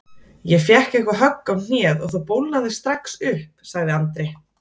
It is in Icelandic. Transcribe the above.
Ég fékk eitthvað högg á hnéð og það bólgnaði strax upp sagði Andri.